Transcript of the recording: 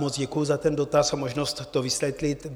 Moc děkuji za ten dotaz a možnost to vysvětlit.